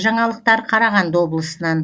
жаңалықтар қарағанды облысынан